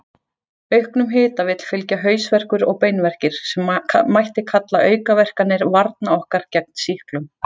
Auknum hita vill fylgja hausverkur og beinverkir, sem mætti kalla aukaverkanir varna okkar gegn sýklum.